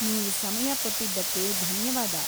ನೀವು ಸಮಯ ಕೊಟ್ಟಿದ್ದಕ್ಕೆ ಧನ್ಯವಾದ.